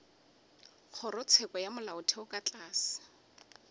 kgorotsheko ya molaotheo ka tlase